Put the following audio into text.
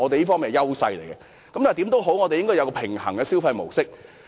我們應該要有一個平衡的消費模式。